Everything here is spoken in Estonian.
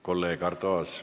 Kolleeg Arto Aas!